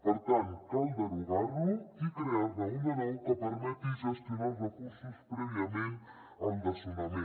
per tant cal derogar lo i crear ne un de nou que permeti gestionar els recursos prèviament al desnonament